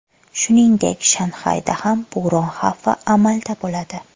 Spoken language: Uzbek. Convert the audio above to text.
Shuningdek, Shanxayda ham bo‘ron xavfi amalda bo‘ladi.